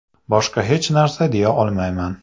Boshqa hech narsa deya olmayman”.